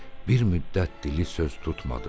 Bir müddət dili söz tutmadı.